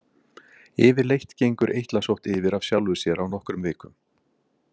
Yfirleitt gengur eitlasótt yfir af sjálfu sér á nokkrum vikum.